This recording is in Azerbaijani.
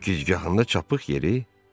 Gicgahında çapıq yeri?